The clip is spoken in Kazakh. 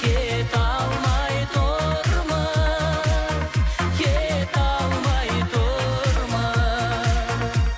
кете алмай тұрмыз кете алмай тұрмыз